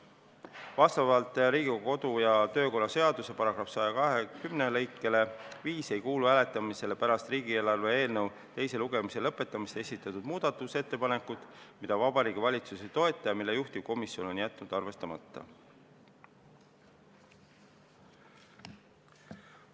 Vastavalt Riigikogu kodu- ja töökorra seaduse § 120 lõikele 5 ei kuulu hääletamisele pärast riigieelarve eelnõu teise lugemise lõpetamist esitatud muudatusettepanekud, mida Vabariigi Valitsus ei toeta ja mille juhtivkomisjon on jätnud arvestamata.